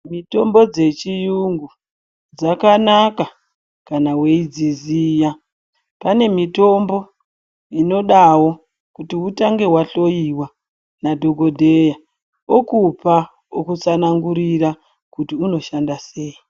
Mitombo dzechiyungu dzakanaka kana weiidziziya..Pane mitombo inodawo kuti utange wahloiwa nadhokodheya, okupa, okutsanangurira kuti unoshanda sei.